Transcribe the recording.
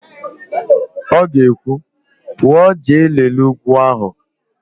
Ọ ga-ekwu, "pụọ jee lelee ugwu ahụ"!